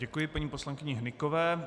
Děkuji paní poslankyni Hnykové.